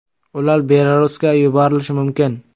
Ular Belarusga yuborilishi mumkin.